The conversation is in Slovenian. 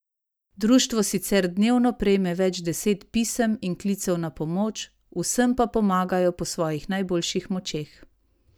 Društvo sicer dnevno prejme več deset pisem in klicev na pomoč, vsem pa pomagajo po svojih najboljših močeh.